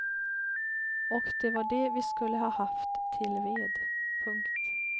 Och det var det vi skulle ha haft till ved. punkt